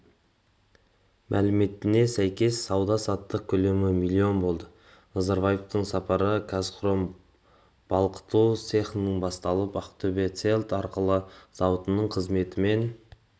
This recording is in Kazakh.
мәліметіне сәйкес сауда-саттық көлемі миллион болды назарбаевтың сапары қазхром балқыту цехынан басталып ақтөбе рельс-арқалық зауытының қызметімен